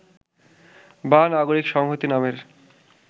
বা নাগরিক সংহতি নামের